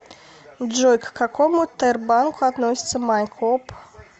джой к какому тербанку относится майкоп